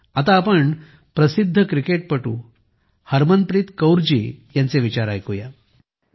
चला आता आपण प्रसिद्ध क्रिकेटपटू हरमनप्रीत कौर यांचे विचार ऐकुया